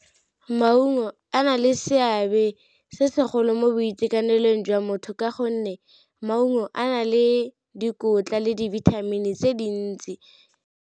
Maungo a na le seabe se segolo mo boitekanelong jwa motho, ka gonne maungo a na le dikotla le dibithamini tse dintsi.